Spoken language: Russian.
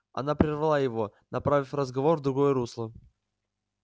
она прервала его направив разговор в другое русло